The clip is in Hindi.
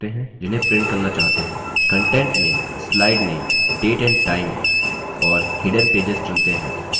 content में slide name date and time और hidden pages चुनते हैं